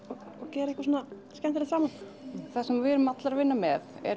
gera eitthvað svona skemmtilega saman það sem við erum allar að vinna með er